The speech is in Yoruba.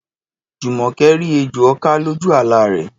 Jùmọ̀kẹ́ rí ejò ọká lójú àlá rẹ̀